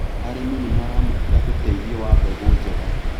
Arĩmi nĩmaramũkĩra ũteithio wa mbegũ njega.